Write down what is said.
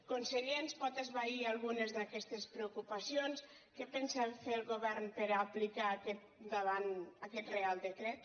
conseller ens pot esvair algunes d’aquestes preocupacions què pensa fer el govern per aplicar aquest reial decret